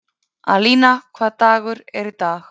Alína, hvaða dagur er í dag?